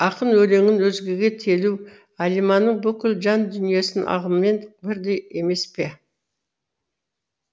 ақын өлеңін өзгеге телу әлиманың бүкіл жан дүниесін алғанмен бірдей емес пе